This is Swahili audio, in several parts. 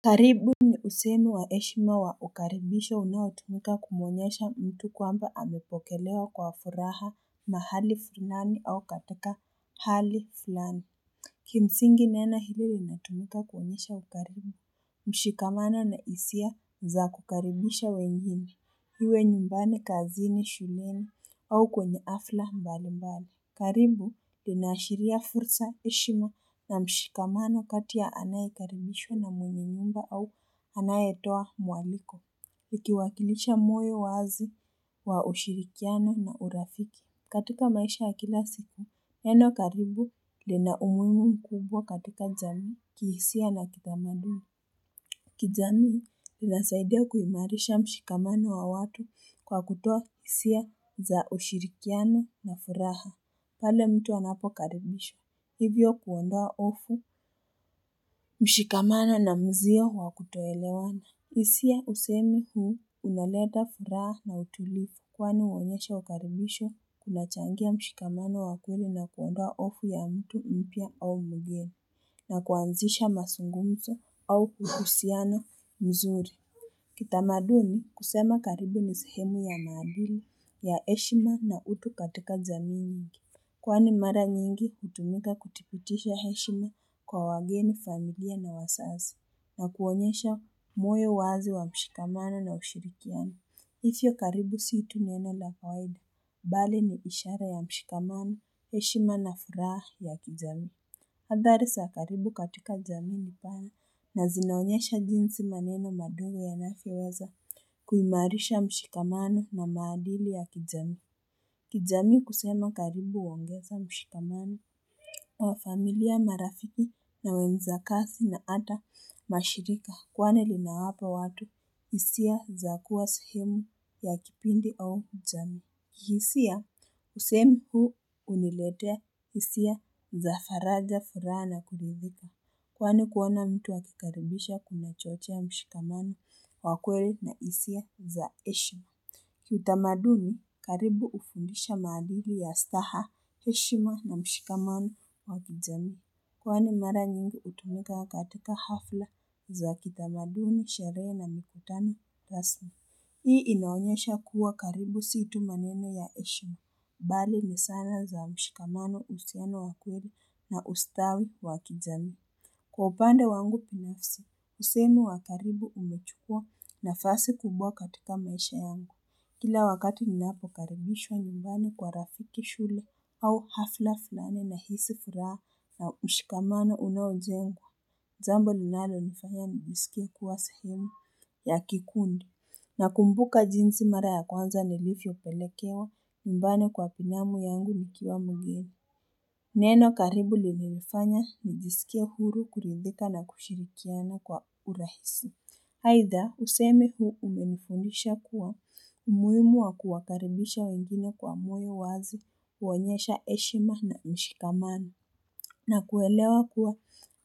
Karibu ni usemi wa heshima wa ukaribisho unaotamka kumwonyesha mtu kwamba amepokelewa kwa furaha mahali fulani au katika hali fulani. Kimsingi neno hili linatumuka kuonyesha ukarimu mshikamano na hisia za kukaribisha wengine, iwe nyumbani, kazini, shuleni au kwenye hafla mbalimbali. Karibu linaashiria fursa, heshima na mshikamano kati ya anayekaribishwa na mwenye nyumba au anayetoa mwaliko. Ikiwakilisha moyo wazi wa ushirikiano na urafiki. Katika maisha wa kila siku, neno karibu lina umuhimu mkubwa katika jamii, kihisia na kitamaduni. Kijamii inasaidia kuimarisha mshikamano wa watu kwa kutoa hisia za ushirikiano na furaha pale mtu anapokaribishwa, hivyo kuondoa hofu, mshikamano na mzio wa kutoelewana. Hisia usemi huu unaleta furaha na utulivu. Kwani huonyesha ukaribisho, kunachangia mshikamano wa kweli na kuondaa hofu ya mtu mpya au mgeni, na kuanzisha mazungumso au uhusiano mzuri. Kitamaduni kusema karibu ni sehemu ya maadili ya heshima na utu katika jamii nyingi. Kwani mara nyingi hutumika kupitisha heshima kwa wageni, familia na wazazi na kuonyesha moyo wazi wa mshikamano na ushirikiano. Hivyo karibu si tu neno la kawaida, bali ni ishara ya mshikamano, heshima na furaha ya kijamii. Hadhari sa karibu katika jami nipaya na zinaonyesha jinsi maneno madogo yanafyoweza kuimarisha mshikamano na maadili ya kijami. Kijami kusema karibu uongeza mshikamani wa familia marafiki na wenzakasi na ata mashirika kwani linawapa watu isia za kuwa suhemu ya kipindi au jami. Hisia kusemi huu uniletea isia za faraja furaha na kuridhika kwani kuona mtu wakikaribisha kunachochea mshikamano wa kweli na isia za heshima. Kitamaduni, karibu ufundisha madili ya staha, eshima na mshikamano wa kijami. Kwani mara nyingi utumika katika hafla za kitamaduni, sherehe na mikutano, rasmi. Hii inaonyesha kuwa karibu si tu maneno ya eshima. Bali ni sana za mshikamano usiano wa kweli na ustawi wa kijami. Kwa upande wangu pinafsi, usemi wa karibu umechukua nafasi kubwa katika maisha yangu. Kila wakati ni lnapo karibishwa nyumbani kwa rafiki shule au hafla fulani nahisi furaha na mshikamano unaujengwa jambo linalonifanya nijisikie kuwa sehemu ya kikundi nakumbuka jinsi mara ya kwanza nilifyopelekewa nyumbani kwa pinamu yangu nikiwa mgeni Neno karibu lilinifanya nijisikie huru kuridhika na kushirikiana kwa urahisi Haidha, usemi huu umenifundisha kuwa umuimu wa kuwakaribisha wengine kwa moyo wazi huonyesha eshima na mshikamano. Na kuelewa kuwa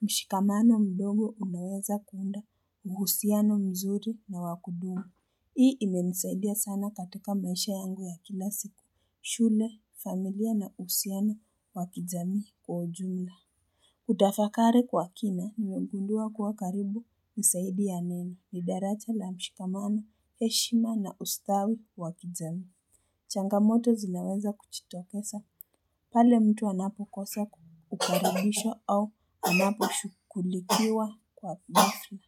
mshikamano mdogo unaweza kuunda uhusiano mzuri na wa kudumu. Hii imenisaidia sana katika maisha yangu ya kila siku shule, familia na uhusiano wa kijamii kwa ujumla. Kutafakari kwa kina nimegundua kuwa karibu ni saidi ya neno ni daracha la mshikamano, heshima na ustawi wa kijamii. Changamoto zinaweza kuchitokesa pale mtu anapo kosa kukaribishwa au anapo shukulikiwa kwa mafri.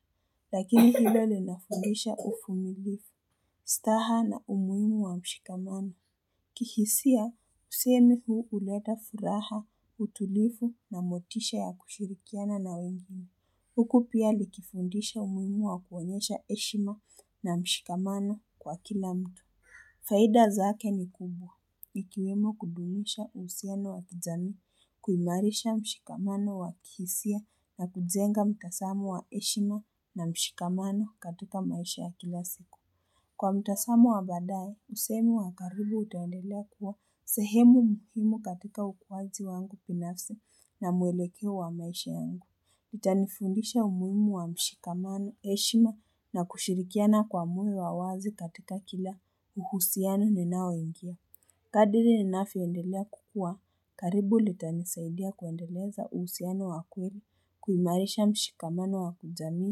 Lakini hilo linafundisha ufumilifu, staha na umuimu wa mshikamana. Kihisia, kusemi huu uleta furaha, utulifu na motisha ya kushirikiana na wengine. Huku pia likifundisha umimu wa kuonyesha eshima na mshikamano kwa kila mtu. Faida zake ni kubwa, ikiwemo kudumisha usiano wa kijamii kuimarisha mshikamano wa kihisia na kujenga mtasamo wa eshima na mshikamano katika maisha ya kila siku. Kwa mtasamo wa badaye usemi wa karibu utaendelea kuwa sehemu muhimu katika ukwaji wangu pinafsi na muelekeo wa maisha yangu litanifundisha umuimu wa mshikamano eshima na kushirikiana kwa moyo wa wazi katika kila uhusiano ninaoingia kadiri ninafyoendelea kukua karibu litanisaidia kuendeleza uhusiano wa kweli kuimarisha mshikamano wa kujami.